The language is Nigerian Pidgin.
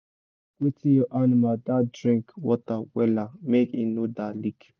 check wetin ur animal da drink water wella make e no da leak